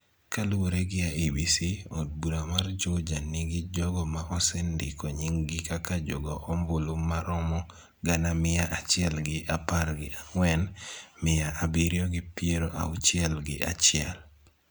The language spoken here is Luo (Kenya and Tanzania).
Kaluwore gi IEBC, od bura mar Juja nigi jogo ma osendiko nying gi kaka jo go ombulu maromo gana mia achiel gi apar gi ang'wen, mia abiriyo gi piero auchiel gi achiel.